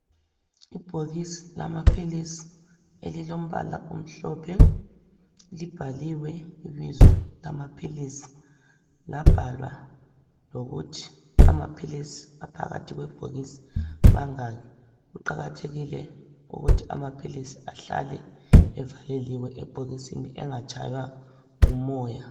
Ibhokisi lamaphilisi elilombala omhlophe libhaliwe ibizo lamaphilisi labhalwa lokuthi amaphilisi phakathi kwebhokisi mangaki kuqakathekile ukuthi amaphilisi ahlale evaleliwe ebhokisini engatshaywa ngumoya.